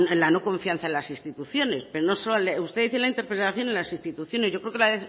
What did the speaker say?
la no confianza en las instituciones pero no solo usted dice en la interpelación en las instituciones yo creo que la